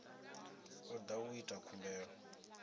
o da u ita khumbelo